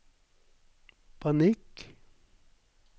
panikk